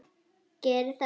Geri það!